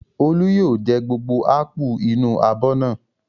Olú yóò jẹ gbogbo ápù inú abọ́ náà.